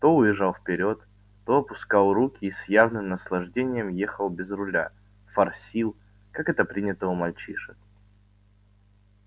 то уезжал вперёд то отпускал руки и с явным наслаждением ехал без руля форсил как это принято у мальчишек